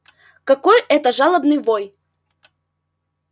какой это жалобный вой